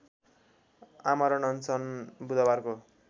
आमरण अनसन बुधवारको